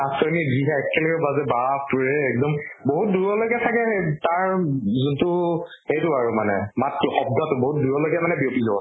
নাচনী যিহে একেলগে বাজে বাপ ৰে এক্দম বাহুত দূৰলৈকে চাগে তাৰ যোনটো সেইটো আৰু মানে মাতটো, শব্দ্টো বহুত দূৰলৈকে মানে বিয়পি যাব।